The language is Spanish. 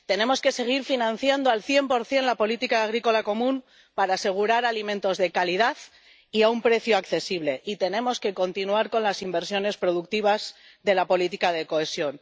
Tenemos que seguir financiando, al cien por cien, la política agrícola común para asegurar alimentos de calidad y a un precio accesible, y tenemos que continuar con las inversiones productivas de la política de cohesión.